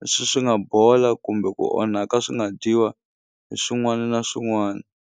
leswi swi nga bola kumbe ku onhaka swi nga dyiwa hi swin'wani na swin'wani.